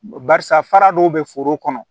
Barisa fara dɔw be foro kɔnɔ